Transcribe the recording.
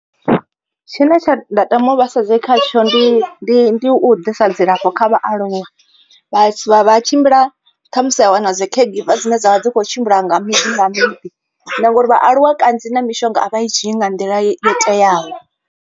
Tshine tsha nda tama u vhasedze khatsho ndi ndi ndi u ḓisa dzilafho kha vhaaluwa. Vha tsha tshimbila khamusi vhaa wana dzi caregiver dzine dzavha dzi kho tshimbila nga miḓi nga miḓi ngori vhaaluwa kanzhi na mishonga avha i dzhii nga nḓila yo teaho.